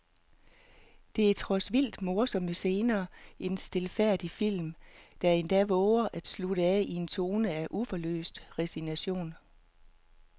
Der er trods vildt morsomme scener en stilfærdig film, der endda vover at slutte af i en tone af uforløst resignation.